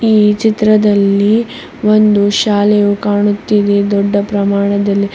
ಈ ಚಿತ್ರದಲ್ಲಿ ಒಂದು ಶಾಲೆಯು ಕಾಣುತ್ತಿದೆ ದೊಡ್ಡ ಪ್ರಮಾಣದಲ್ಲಿ --